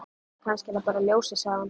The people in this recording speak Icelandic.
Kannski er það bara ljósið, sagði hann.